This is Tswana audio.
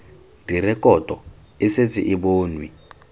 direkoto e setse e bonwe